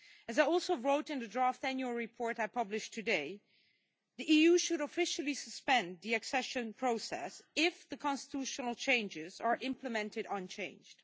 As I stated in the draft annual report I published today, the EU should officially suspend the accession process if the constitutional changes are implemented unchanged.